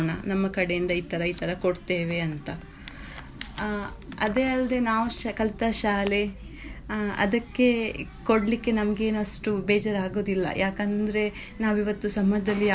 ನಮ್ಮ ಕಡೆ ಇತರ ಇತರ ಕೊಡ್ತೇವೆ ಅಂತ ಆ ಅದೇ ಅಲ್ಲದೆ ನಾವು ಕಲ್ತ ಶಾಲೆ ಅದ್ಕೆ ಕೊಡ್ಲಿಕ್ಕೆ ನಮ್ಗೆನ್ ಅಷ್ಟು ಬೇಜಾರು ಆಗುದಿಲ್ಲಾ ಯಾಕಂದ್ರೆ ನಾವಿವತ್ತು ಸಮಾಜದಲ್ಲಿ ಯಾವುದೇ.